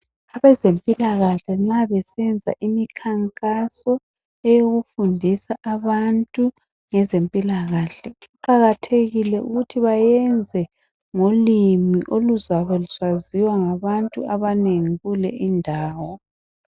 Abezempilakahle nxa besenza imikankaso eyokufundisa abantu ngezempilakahle kuqakathekile ukuthi bayenze ngolimi oluzabe lusaziwa ngabantu abanengi kule indawo